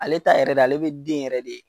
Ale ta yɛrɛ de ale bɛ den yɛrɛ de.